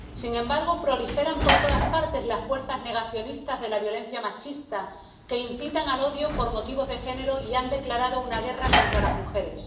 Sin embargo, proliferan por todas partes las fuerzas negacionistas de la violencia machista, que incitan al odio por motivos de género y han declarado una guerra contra las mujeres.